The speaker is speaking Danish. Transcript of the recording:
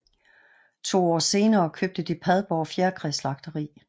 To år senere købte de Padborg Fjerkræslagteri